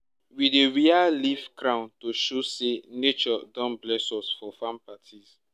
we dey wear leaf crown to show say nature don bless us for farm parties